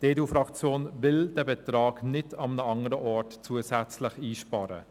Die EDU-Fraktion will den Betrag nicht an einem anderen Ort zusätzlich einsparen.